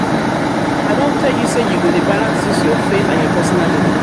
i don tell you sey you go dey balance dis your faith and your personal belif.